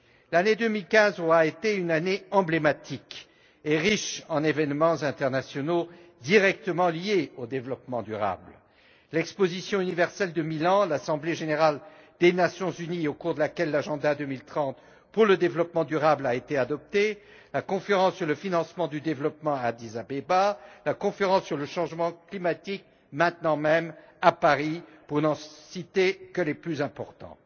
L'année 2015 aura été une année emblématique et riche en événements internationaux directement liés au développement durable l'Exposition universelle de Milan, l'Assemblée générale des Nations unies au cours de laquelle les objectifs de développement durable à l'horizon 2030 ont été adoptés la conférence sur le financement du développement à Addis Abeba, la conférence sur le changement climatique en ce moment même à Paris pour n'en citer que les plus importants.